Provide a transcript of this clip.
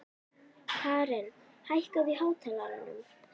Karin, hækkaðu í hátalaranum.